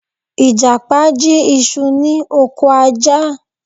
Ìjàpá jí isu ni ọkọ̀ Ajá